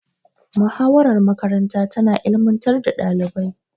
Muhawarar makaranta tana ilimantar da ɗalibai.